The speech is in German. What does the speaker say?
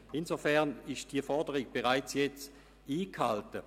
Insofern ist diese Forderung bereits jetzt erfüllt.